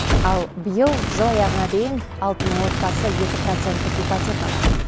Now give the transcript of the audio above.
ал биыл жыл аяғына дейін алты мың отбасы екі проценттік ипотека алады